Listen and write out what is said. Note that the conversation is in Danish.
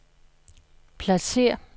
pladsér